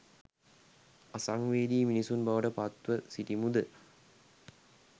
අසංවේදී මිනිසුන් බවට පත්ව සිටිමු ද?